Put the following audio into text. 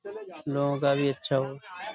लो का भी अच्छा हो।